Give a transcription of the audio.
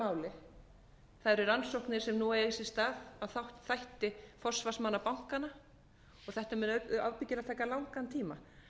það eru rannsóknir sem nú eiga sér stað á þætti forsvarsmanna bankanna og þetta mun ábyggilega taka langan tíma